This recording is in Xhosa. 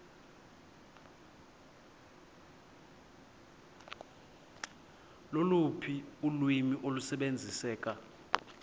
loluphi ulwimi olusebenziseka